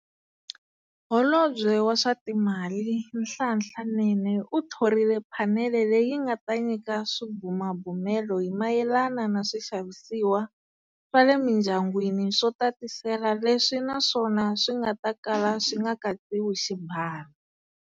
Holobye wa swa Timali, Nhlanhla Nene u thorile phanele leyi nga ta nyika swibumabumelo hi mayelana na swixavisiwa swa le mindyangwini swo tatisela leswi naswona swi nga ta kala swi nga katsiwi xibalo.